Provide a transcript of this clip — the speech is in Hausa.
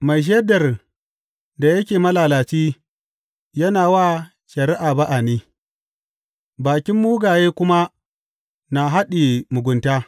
Mai shaidar da yake malalaci yana wa shari’a ba’a ne, bakin mugaye kuma na haɗiye mugunta.